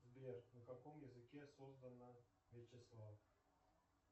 сбер на каком языке создано вячеслав